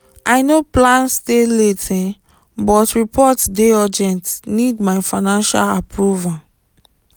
i no plan stay late um but report dey urgent need my final approval